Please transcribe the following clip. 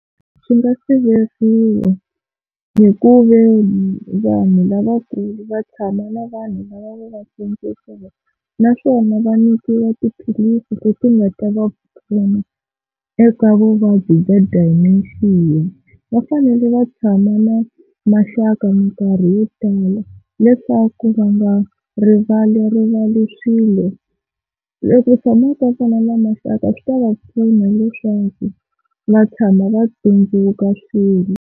Swi nga siveriwa hi ku veni vanhu lavakulu va tshama na vanhu lava va va sindzisaka, naswona va nyikiwa tiphilisi leti nga ta va vutomi eka vuvabyi bya Dementia. Va fanele va tshama na maxaka minkarhi yo tala leswaku va nga rivalirivali swilo tshamaka kona na maxaka swi ta va pfuna leswaku va tshama va tsundzuka swilo.